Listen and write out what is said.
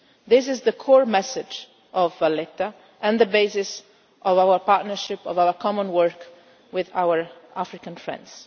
This is the core message of Valletta and the basis of our partnership, of our common work, with our African friends.